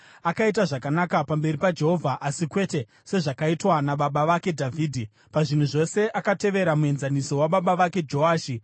Akaita zvakanaka pamberi paJehovha, asi kwete sezvakaitwa nababa vake Dhavhidhi. Pazvinhu zvose akatevera muenzaniso wababa vake Joashi.